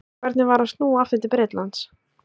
Hvernig var að snúa aftur til Bretlands?